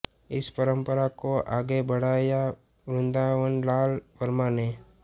इस परंपरा को आगे बढ़ाया वृंदावनलाल वर्मा ने